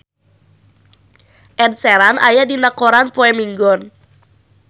Ed Sheeran aya dina koran poe Minggon